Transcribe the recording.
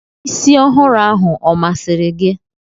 Isi ọhụrụ ahụ ọ masịrị gị?